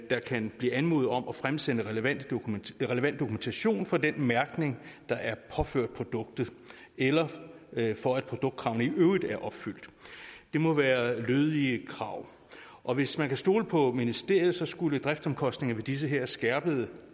der kan blive anmodet om at fremsende relevant dokumentation for den mærkning der er påført produktet eller for at produktkravene i øvrigt er opfyldt det må være lødige krav og hvis man kan stole på ministeriet skulle driftsomkostningerne ved de her skærpede